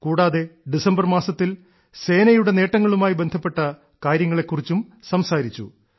കൂടാതെ ഡിസംബർ മാസത്തിൽ സേനയുടെ നേട്ടങ്ങളുമായി ബന്ധപ്പെട്ട കാര്യങ്ങളെ കുറിച്ചും സംസാരിച്ചു